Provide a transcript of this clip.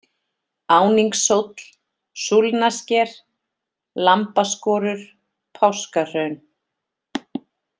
Áningshóll, Súlnasker, Lambaskorur, Páskahraun